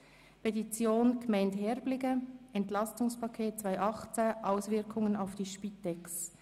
Drittens: Petition der Gemeinde Herbligen: «Entlastungspaket 2018 – Auswirkungen auf die Spitex».